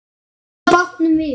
Þeir velta bátnum við.